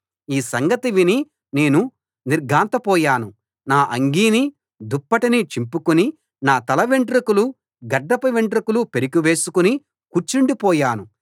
ఈ సంగతి విని నేను నిర్ఘాంతపోయాను నా అంగీనీ దుప్పటినీ చింపుకుని నా తల వెంట్రుకలు గడ్డపు వెంట్రుకలు పెరికి వేసుకుని కూర్చుండిపోయాను